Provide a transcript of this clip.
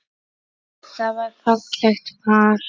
Það var fallegt par.